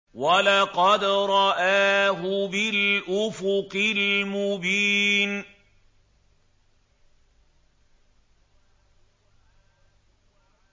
وَلَقَدْ رَآهُ بِالْأُفُقِ الْمُبِينِ